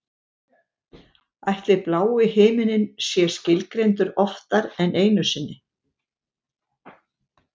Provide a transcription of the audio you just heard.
Ætli blái himininn sé skilgreindur oftar en einu sinni?